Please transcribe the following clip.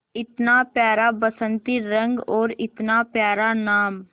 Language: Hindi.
इतना प्यारा बसंती रंग और इतना प्यारा नाम